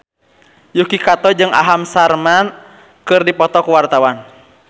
Yuki Kato jeung Aham Sharma keur dipoto ku wartawan